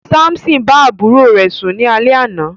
Samson bá àbúrò rẹ̀ sún ni alẹ àna.